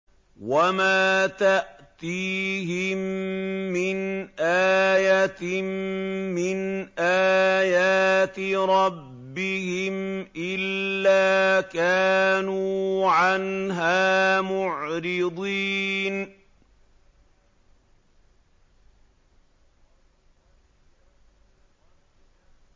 وَمَا تَأْتِيهِم مِّنْ آيَةٍ مِّنْ آيَاتِ رَبِّهِمْ إِلَّا كَانُوا عَنْهَا مُعْرِضِينَ